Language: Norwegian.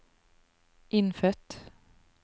innfødt